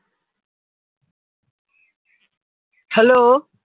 hello